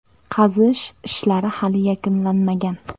Qazish ishlari hali yakunlanmagan.